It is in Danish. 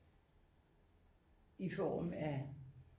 I form af